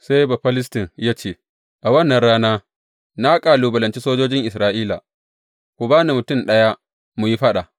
Sai Bafilistin ya ce, A wannan rana, na kalubalanci sojojin Isra’ila, ku ba ni mutum ɗaya mu yi faɗa.